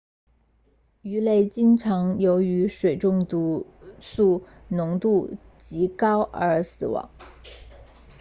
鱼类经常由于水中毒素浓度极高而死亡